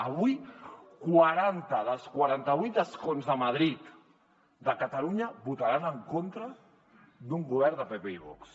avui quaranta dels quaranta vuit escons a madrid de catalunya votaran en contra d’un govern de pp i vox